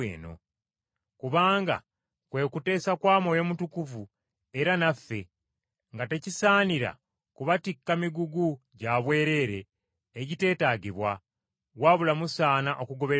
Kubanga kwe kuteesa kwa Mwoyo Mutukuvu, era naffe, nga tekisaanira kubatikka migugu gya bwereere egiteetaagibwa, wabula musaana okugoberera bino: